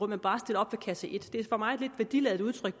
men bare stiller op ved kasse et det er for mig et lidt værdiladet udtryk